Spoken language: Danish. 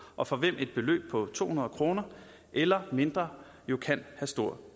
og for hvem et beløb på to hundrede kroner eller mindre kan have stor